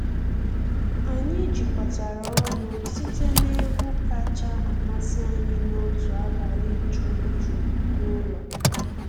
Anyị jikọtara ọnụ site n’egwu kacha amasị anyị n’otu abalị juru jụụ n’ụlọ.